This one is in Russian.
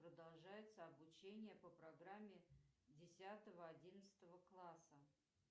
продолжается обучение по программе десятого одиннадцатого класса